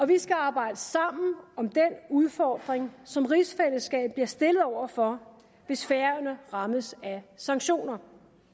vi skal arbejde sammen om den udfordring som rigsfællesskabet bliver stillet over for hvis færøerne rammes af sanktioner